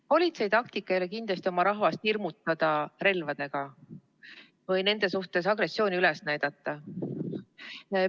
Politsei taktika ei ole kindlasti oma rahvast hirmutada relvadega või nende suhtes agressiooni üles näidata.